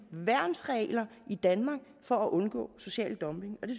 værnsregler i danmark for at undgå social dumping og det